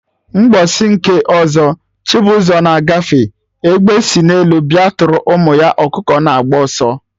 Mgbọsị nke ọzọ, Chibuzor na agafe, Egbe si n'elu bịa tụrụ ụmụ ọkụkọ na-agba ọsọ